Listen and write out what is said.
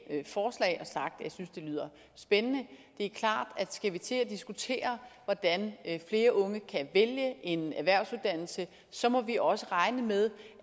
jeg synes de lyder spændende det er klart at skal vi til at diskutere hvordan flere unge kan vælge en erhvervsuddannelse så må vi også regne med